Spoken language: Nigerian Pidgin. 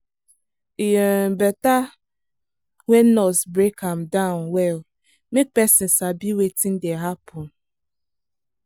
e um better when nurse break am down well make person sabi wetin dey happen.